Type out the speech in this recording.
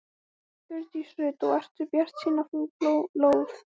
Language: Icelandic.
Hjördís Rut: Og ertu bjartsýn á að fá lóð?